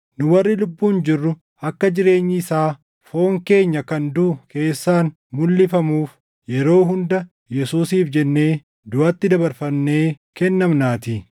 Nu warri lubbuun jirru akka jireenyi isaa foon keenya kan duʼu keessaan mulʼifamuuf yeroo hunda Yesuusiif jennee duʼatti dabarfamnee kennamnaatii.